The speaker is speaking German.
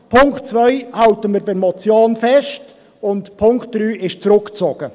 Bei Punkt 2 halten wir an der Motion fest, und Punkt 3 ist zurückgezogen.